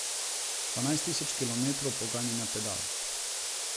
Devetnajst tisoč kilometrov poganjanja pedal.